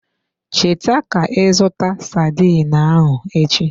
Cheta ka ị zụta sardine ahụ echi.